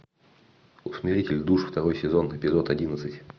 усмиритель душ второй сезон эпизод одиннадцать